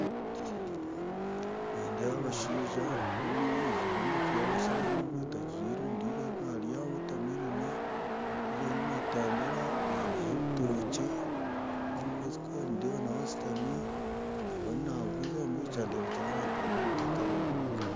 Nindeeba abashaija omwe ajwaire enkofiira yabasiramu omwe tagijwaire ondiijo narya water melon ondiijo ariyo natambura baineho ebitookye hariyo omukazi kuri nindeeba nawe ashutami nawe naaguza mbwenu kyandebekyera abantu bari omu katare nibaguza